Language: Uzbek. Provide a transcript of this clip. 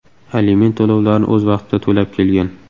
aliment to‘lovlarini o‘z vaqtida to‘lab kelgan.